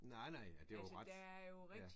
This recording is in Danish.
Nej nej ja det er jo ret. Ja